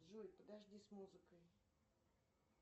джой подожди с музыкой